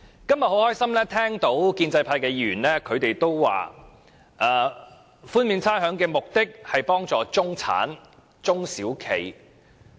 今天很高興聽到建制派議員表示寬免差餉的目的是為幫助中產人士及中小企。